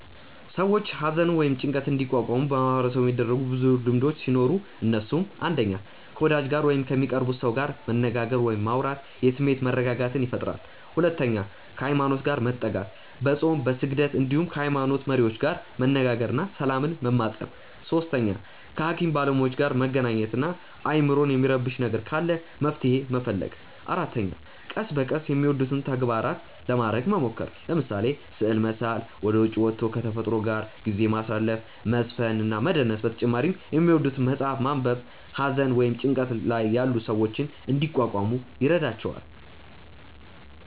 ሰዎች ሃዘንን ወይም ጭንቀትን እንዲቋቋሙ በማህበረሰቡ የሚደረጉ ብዙ ልምዶቹ ሲኖሩ እነሱም፣ 1. ከ ወዳጅ ጋር ወይም ከሚቀርቡት ሰው ጋር መነጋገር ወይም ማውራት የስሜት መረጋጋትን ይፈጥራል 2. ሃይማኖት ጋር መጠጋት፦ በፆም፣ በስግደት እንዲሁም ከ ሃይሞኖት መሪዎች ጋር መነጋገር እና ሰላምን መማፀን 3. ከ ሃኪም ባለሞያዎች ጋር መገናኘት እና አይምሮን የሚረብሽ ነገር ካለ መፍትሔ መፈለግ 4. ቀስ በቀስ የሚወዱትን ተግባራት ለማረግ መሞከር፤ ለምሳሌ፦ ስዕል መሳል፣ ወደ ዉጪ ወቶ ከ ተፈጥሮ ጋር ጊዜ ማሳለፍ፣ መዝፈን እና መደነስ በተጨማሪ የሚወዱትን መፅሐፍ ማንበብ ሃዘን ወይም ጭንቀት ላይ ያሉ ሰዎችን እንዲቋቋሙ ይረዷቸዋል።